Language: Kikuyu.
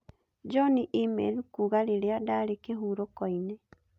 John e-mail kuuga rĩrĩa ndarĩ kĩhuroko-inĩ